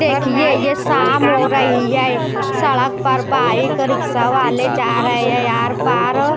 देखिए ये शाम हो रही है सड़क पर बाइक रिक्शा वाले जा रहे है यहां पर--